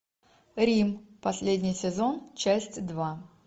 рим последний сезон часть два